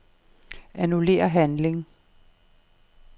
Annullér handling.